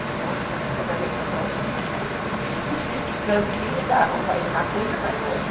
Os tontos aqui resolveram comprar um sítio e sítio camping não dá, ou faz uma coisa ou faz outra.